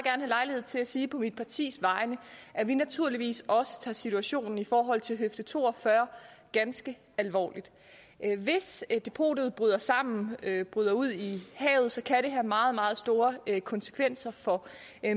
lejlighed til at sige på mit partis vegne at vi naturligvis også tager situationen i forhold til høfde to og fyrre ganske alvorligt hvis depotet bryder sammen bryder ud i havet kan det have meget meget store konsekvenser for